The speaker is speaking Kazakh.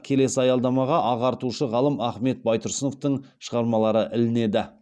келесі аялдамаға ағартушы ғалым ахмет байтұрсыновтың шығармалары ілінеді